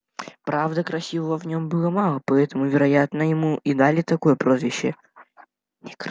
правда красивого в нем было мало поэтому вероятно ему и дали такое прозвище